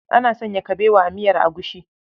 Ana sanya kabewa a miyar agushi.